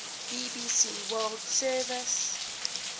bbc world service